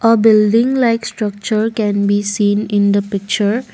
A building like structure can be seen in the picture.